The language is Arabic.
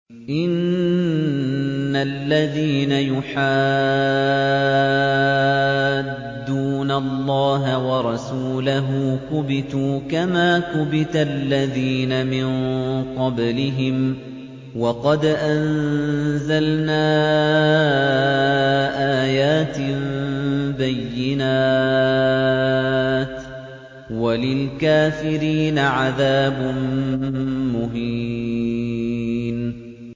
إِنَّ الَّذِينَ يُحَادُّونَ اللَّهَ وَرَسُولَهُ كُبِتُوا كَمَا كُبِتَ الَّذِينَ مِن قَبْلِهِمْ ۚ وَقَدْ أَنزَلْنَا آيَاتٍ بَيِّنَاتٍ ۚ وَلِلْكَافِرِينَ عَذَابٌ مُّهِينٌ